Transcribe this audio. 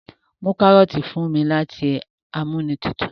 mú karọọti fún mí láti Amóhuntutù